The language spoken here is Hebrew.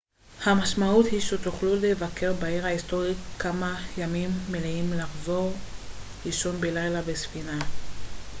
המשמעות היא שתוכלו לבקר בעיר ההיסטורית כמה ימים מלאים ולחזור לישון בלילה בספינה